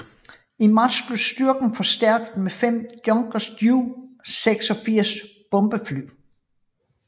I marts blev styrken forstærket med 5 Junkers Ju 86 bombefly